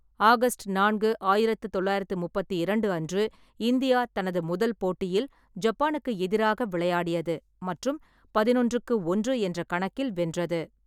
August நான்கு, ஆயிரத்து தொள்ளாயிரத்து முப்பத்தி இரண்டு அன்று, இந்தியா தனது முதல் போட்டியில் ஜப்பானுக்கு எதிராக விளையாடியது மற்றும் பதினொன்றுக்கு ஒன்று என்ற கணக்கில் வென்றது.